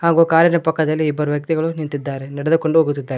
ಹಾಗು ಕಾರಿ ನ ಪಕ್ಕದಲ್ಲಿ ಇಬ್ಬರು ವ್ಯಕ್ತಿಗಳು ನಿಂತಿದ್ದಾರೆ ನಡೆದುಕೊಂಡು ಹೋಗುತ್ತಿದ್ದಾರೆ.